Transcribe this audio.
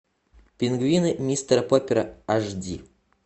пингвины мистера поппера аш ди